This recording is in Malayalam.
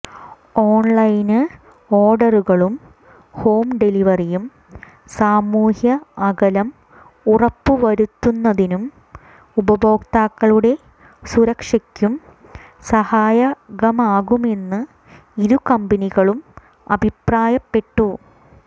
ഓണ്ലൈന് ഓര്ഡറുകളും ഹോം ഡെലിവറിയും സാമൂഹ്യ അകലം ഉറപ്പുവരുത്തുന്നതിനും ഉപഭോക്താക്കളുടെ സുരക്ഷയ്ക്കും സഹായകമാകുമെന്ന് ഇരു കമ്പനികളും അഭിപ്രായപ്പെട്ടു